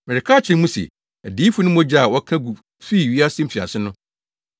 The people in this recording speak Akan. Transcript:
Mereka akyerɛ mo se, adiyifo no mogya a wɔka gu fii wiase mfiase no,